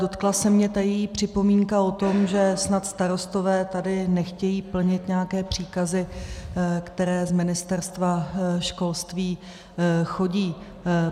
Dotkla se mě ta její připomínka o tom, že snad starostové tady nechtějí plnit nějaké příkazy, které z Ministerstva školství chodí.